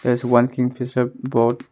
There is a one Kingfisher board.